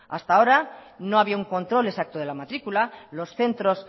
hasta ahora no había un control exacto de la matrícula los centros